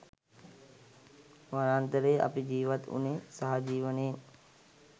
වනාන්තරයේ අපි ජිවත් වුණේ සහජීවනයෙන්.